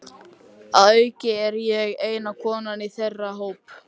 Að auki er ég eina konan í þeirra hópi.